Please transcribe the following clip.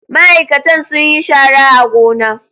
Ma'aikatan sun yi shara a gona.